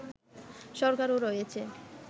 সরকারও রয়েছে